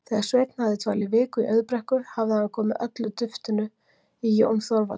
Þegar Sveinn hafði dvalið viku í Auðbrekku hafði hann komið öllu duftinu í Jón Þorvaldsson.